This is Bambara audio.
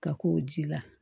Ka k'o ji la